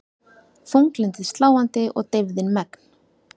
Þunglyndið sláandi og deyfðin megn.